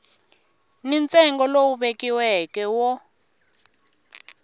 ni ntsengo lowu vekiweke wo